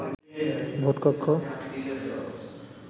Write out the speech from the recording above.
vote কক্ষ